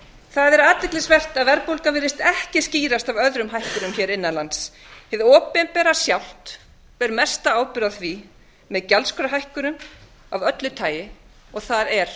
það hefur verið athyglisvert að verðbólga virðist ekki skýrast af öðrum hækkunum hér innan lands hið opinbera sjálft ber mesta ábyrgð á því með gjaldskrárhækkunum af öllu tagi og það er